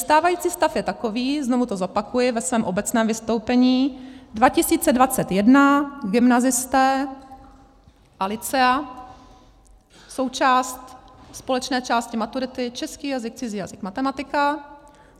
Stávající stav je takový, znovu to zopakuji ve svém obecném vystoupení: 2021 gymnazisté a lycea, součást společné části maturity, český jazyk, cizí jazyk, matematika.